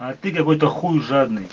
а ты какой-то хуй жадный